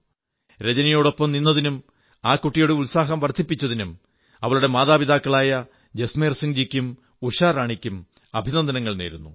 രജനിയൊടൊപ്പം നിന്നതിനും ആ കുട്ടിയുടെ ഉത്സാഹം വർധിപ്പിച്ചതിനും അവളുടെ മതാപിതാക്കളായ ജസ്മേർ സിംഗ്ജിയ്ക്കും ഉഷാറാണിക്കും അഭിനന്ദനങ്ങൾ നേരുന്നു